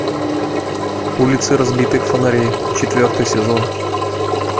улицы разбитых фонарей четвертый сезон